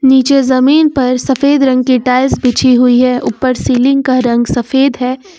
नीचे जमीन पर सफेद रंग की टाइल्स बिछी हुई है ऊपर सीलिंग का रंग सफेद है।